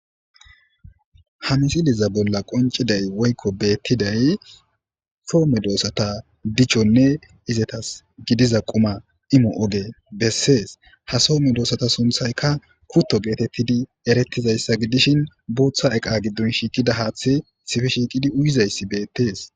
Ha misiliza bolla qonciday woykko beettiday soome doossata dichonne izetas gidiza quma imo oge bessees ha soomme doossata sunthaykka kutto geetettidi erettizayssa gidishin booththa eqa giddon shiiqida haaththi sifi shiiqidi uyizayssi beettees.